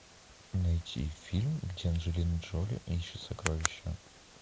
найти фильм где анджелина джоли ищет сокровища